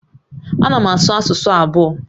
A na m asụ asụsụ abụọ